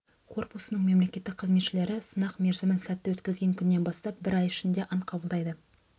корпусының мемлекеттік қызметшілері сынақ мерзімін сәтті өткізген күннен бастап бір ай ішінде ант қабылдайды